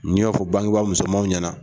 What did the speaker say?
N y'a fɔ bangebaa musoman ɲɛna